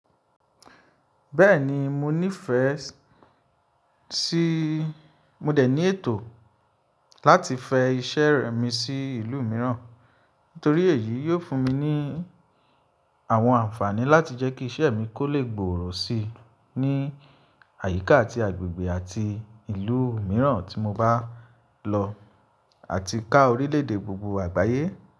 Bẹ́ẹ̀ni, mo ní ìfẹ́ sí, mo dẹ̀ ní ètò láti fẹ iṣẹ́ rẹ̀ mi sí ìlú mìíràn, nítorí èyí yóò fún mi ní àwọn ànfààní láti jẹ́ kí iṣẹ́ mi kó lè gbòòrò si ní àyíká ati agbègbè àti ìlú mìíràn tí mo bá lọ àti ká orílẹ̀ èdè gbogbo àgbáyé.